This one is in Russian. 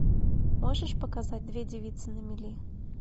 можешь показать две девицы на мели